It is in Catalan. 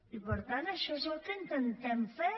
i per tant això és el que intentem fer